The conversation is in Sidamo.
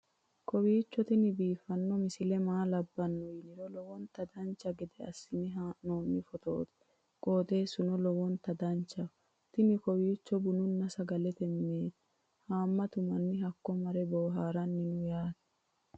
kowiicho tini biiffanno misile maa labbanno yiniro lowonta dancha gede assine haa'noonni foototi qoxeessuno lowonta danachaho. tini kowuiicho bununna sagalete mineeti haammatu manni hakko mare boohaaranni no yaate